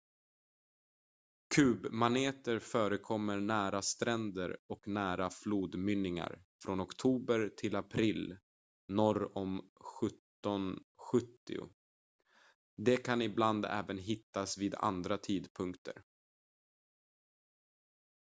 kubmaneter förekommer nära stränder och nära flodmynningar från oktober till april norr om 1770 de kan ibland även hittas vid andra tidpunkter